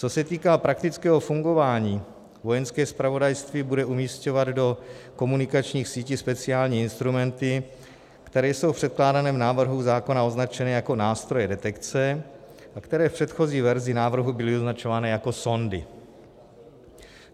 Co se týká praktického fungování, Vojenské zpravodajství bude umisťovat do komunikačních sítí speciální instrumenty, které jsou v předkládaném návrhu zákona označeny jako nástroje detekce a které v předchozí verzi návrhu byly označované jako sondy.